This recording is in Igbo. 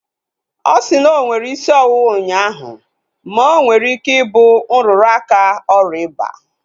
Ọ si na onwere isi ọwụwa ụnyaahụ ma onwere ike ịbụ nrụrụ aka oria ịba